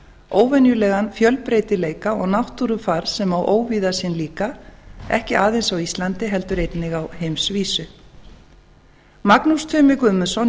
óvenjulegan fjölbreytileika og náttúrufar sem á óvíða sinn líka ekki aðeins á íslandi heldur einnig á heimsvísu magnús tumi guðmundsson